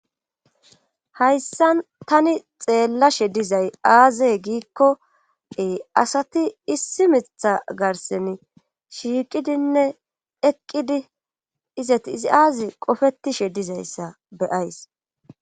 hayssa tani xeellashe dizay aazey giikkoe asati issi mitha garsen shiiqidinne eqqidi izati izi aazi qofetishe dizayssa beyays